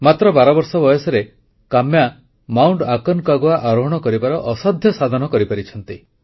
ମାତ୍ର ବାରବର୍ଷ ବୟସରେ କାମ୍ୟା ମାଉଣ୍ଟ ଆକୋନକାଗୁଆ ଆରୋହଣ କରିବାର ଅସାଧ୍ୟ ସାଧନ କରିପାରିଛନ୍ତି